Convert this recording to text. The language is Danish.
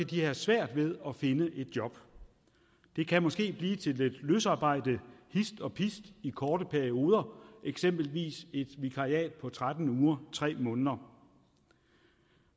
de have svært ved at finde et job det kan måske blive til lidt løsarbejde hist og pist i korte perioder eksempelvis et vikariat på tretten uger tre måneder